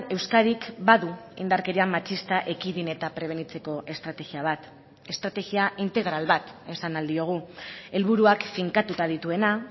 euskadik badu indarkeria matxista ekidin eta prebenitzeko estrategia bat estrategia integral bat esan ahal diogu helburuak finkatuta dituena